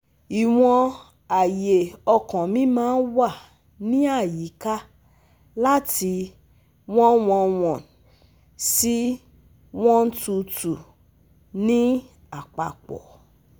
Iwọn aye ọkan mi maa n wa ni ayika lati one hundred eleven si one hundred twenty two ni apapọ